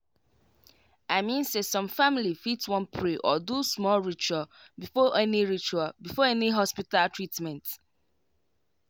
i mean say some family fit wan pray or do small ritual before any ritual before any hospita treatment